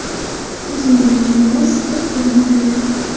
O‘zingiz uchun mos sport turini tanlang.